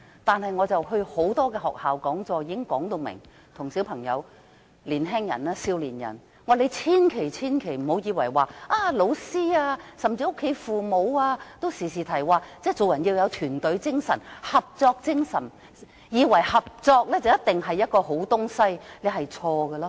但我到各間學校出席講座時，已向小朋友和年青人說明，千萬不要因為經常聽到老師甚至家中父母說做人要有團隊精神和合作精神，便以為合作一定是好東西，這是錯誤的。